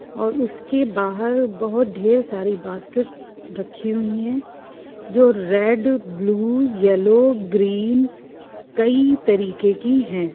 और उसके बाहर बहुत डेर सारे बाहर बास्केट रखी हुई हैं जो रेड ब्लू येल्लो ग्रीन कई तरीके की हैं ।